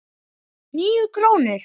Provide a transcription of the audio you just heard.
Níu krónur?